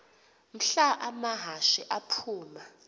mhla amahashe aphuma